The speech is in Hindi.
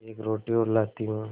एक रोटी और लाती हूँ